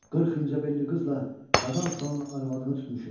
Qırx incə belli qızla Qazan xanın arvadını tutmuşuq.